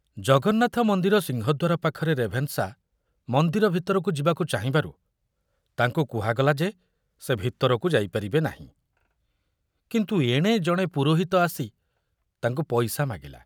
ଜଗନ୍ନାଥ ମନ୍ଦିର ସିଂହଦ୍ୱାର ପାଖରେ ରେଭେନଶା ମନ୍ଦିର ଭିତରକୁ ଯିବାକୁ ଚାହିଁବାରୁ ତାଙ୍କୁ କୁହାଗଲା ଯେ ସେ ଭିତରକୁ ଯାଇପାରିବେ ନାହିଁ, କିନ୍ତୁ ଏଣେ ଜଣେ ପୁରୋହିତ ଆସି ତାଙ୍କୁ ପଇସା ମାଗିଲା।